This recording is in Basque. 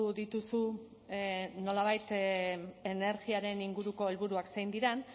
dituzu nolabait energiaren inguruko helburuak zein diren